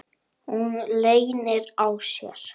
Hún leynir á sér.